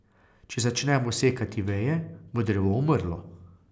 Če začnemo sekati veje, bo drevo umrlo.